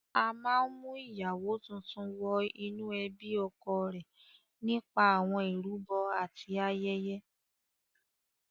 A máa ń mú ìyàwó tuntun wọ inú ẹbí ọkọ rẹ̀ nípa àwọn ìrúbọ àti ayẹyẹ.